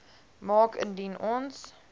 maak indien ons